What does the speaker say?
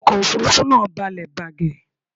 Ọkọ òfúrufú náà balẹ̀ bàgẹ̀